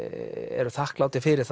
eru þakklátir fyrir